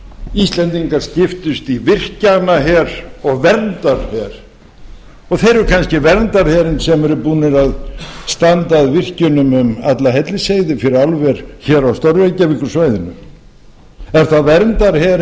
íslendingar skiptust í virkjanaher og verndarher þeir eru kannski verndarherinn sem eru búnir að standa að virkjun um alla hellisheiði fyrir álver hér á stór reykjavíkursvæðinu er það